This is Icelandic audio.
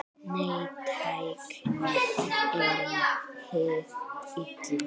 Nei, tæknin er hið illa.